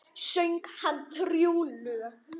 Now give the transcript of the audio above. Söng hann þrjú lög.